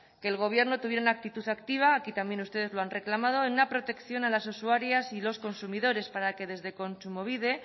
que el gobierno tuviera una actitud activa aquí también ustedes lo han reclamado en una protección a las usuarias y los consumidores para que desde kontsumobide